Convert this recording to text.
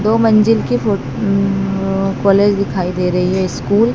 दो मंजिल की फो अन्नन कॉलेज दिखाई दे रही है स्कूल --